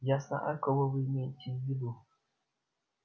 я знаю кого вы имеете в виду